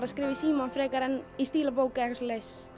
að skrifa í símann frekar en í stílabók